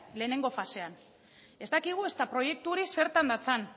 lehenengo fasean ez dakigu ezta proiektu hori zertan datzan